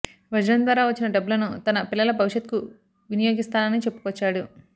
వజ్రం ద్వారా వచ్చిన డబ్బులను తన పిల్లల భవిష్యత్కు వినియోగిస్తానని చెప్పుకొచ్చాడు